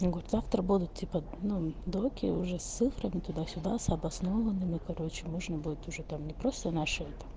год завтра будут типа ну документы уже с цифрами туда-сюда с обоснованными короче можно будет уже там не просто наше это